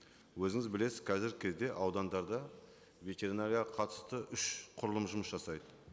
өзіңіз білесіз қазіргі кезде аудандарда ветеринарияға қатысты үш құрылым жұмыс жасайды